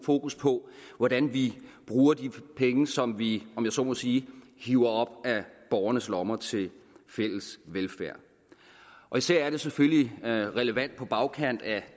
fokus på hvordan vi bruger de penge som vi om jeg så må sige hiver op af borgernes lommer til fælles velfærd især er det selvfølgelig relevant på bagkant af